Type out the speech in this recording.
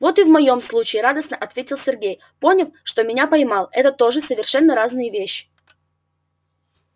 вот и в моём случае радостно ответил сергей поняв что меня поймал это тоже совершенно разные вещи